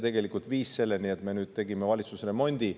Tegelikult see viiski selleni, et nüüd me tegime valitsusremondi.